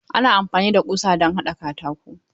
Ana amfani da ƙusa don haɗa katako.